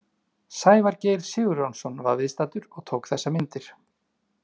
Sævar Geir Sigurjónsson var viðstaddur og tók þessar myndir.